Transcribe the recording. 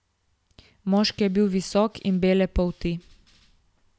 Moški je bil visok in bele polti.